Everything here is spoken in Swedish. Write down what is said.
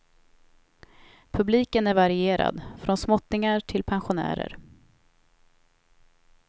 Publiken är varierad, från småttingar till pensionärer.